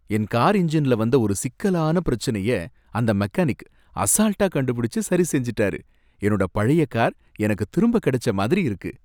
என் car என்ஜின்ல வந்த ஒரு சிக்கலான பிரச்சனைய அந்த மெக்கானிக் அசால்ட்டா கண்டுபிடிச்சு சரிசெஞ்சுட்டாரு, என்னோட பழைய கார் எனக்கு திரும்ப கிடைச்ச மாதிரி இருக்கு.